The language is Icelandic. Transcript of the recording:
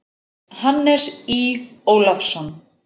Hannes Í. Ólafsson.